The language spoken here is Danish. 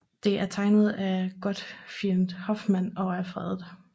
Det er tegnet af Gottfried Hoffmann og er fredet